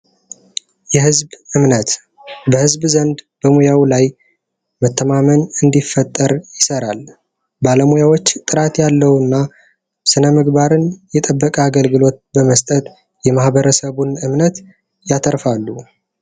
የህዝብ እምነት በህዝብ ዘንድ በሙያው ላይ መተማመን እንዲፈጠር ይሰራል። ባለሙያዎች ጥራት ያለው እና ስነምግባርን የጠበቀ አገልግሎት በመስጠት የማህበረሰቡን እምነት ያተርፋሉ።